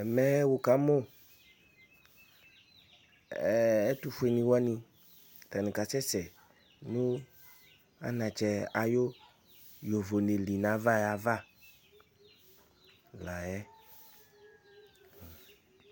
Ɛmɛ wʋ ƙamʋ ɛtʋfuenɩwanɩ ,ata nɩ ƙa sɛsɛ nʋ anatsɛ aƴʋ ƴovone ɖɩ ƴa la ƴɛ